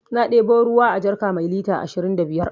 Na ɗebo ruwa a jarka mai lita ashirin da biyar